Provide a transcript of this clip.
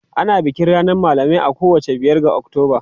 Ana bikin ranar malamai a kowace biyar ga Oktoba.